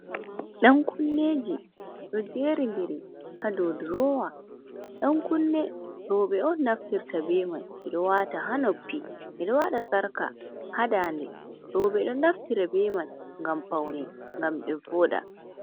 Dan kunneji, ɗo jeriɗiri ha ɗow ɗurowa. Dan kunne roɓe on naftirta ɓe man man. Ɓe ɗo wata ha noppi. Ɓe ɗo wata sarka ha nɗaɗe. Roɓe ɗo naftir ɓe man, ngam faune, ngam ɓe vooɗa.